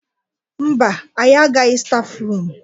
Mba, anyị agaghị stafrum.